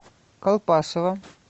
колпашево